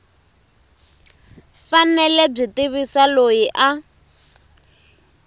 fanele byi tivisa loyi a